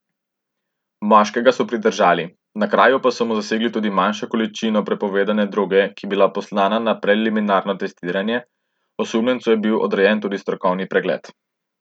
Moškega so pridržali, na kraju pa so mu zasegli tudi manjšo količino prepovedane droge, ki je bila poslana na preliminarno testiranje, osumljencu je bil odrejen tudi strokovni pregled.